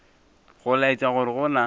go laetša gore go na